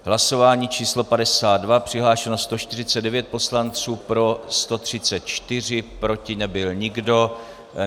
Hlasování číslo 52, přihlášeno 149 poslanců, pro 134, proti nebyl nikdo.